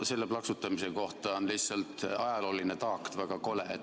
Selle plaksutamise kohta on lihtsalt ajalooline taak, väga kole.